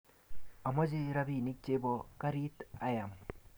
Amache rapinik che bo karit ayam